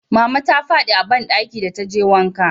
mama ta fadi a banɗaki da ta je wanka